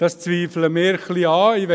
Das zweifeln wir ein wenig an.